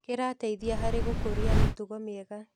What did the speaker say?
Kĩrateithia harĩ gũkũria mĩtugo mĩega.